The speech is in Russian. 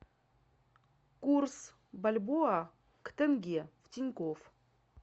курс бальбоа к тенге в тинькофф